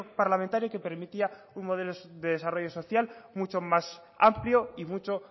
parlamentario que permitía un modelo de desarrollo social mucho más amplio y mucho